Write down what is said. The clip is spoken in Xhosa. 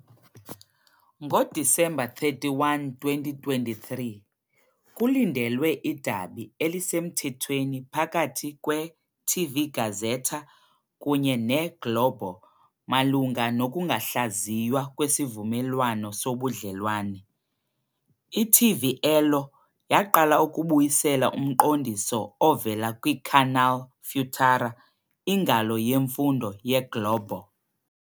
NgoDisemba 31, 2023, kulindelwe idabi elisemthethweni phakathi kweTV Gazeta kunye neGlobo malunga nokungahlaziywa kwesivumelwano sobudlelwane, "i-TV Elo" yaqala ukubuyisela umqondiso ovela kwiCanal Futura, ingalo yemfundo yeGlobo.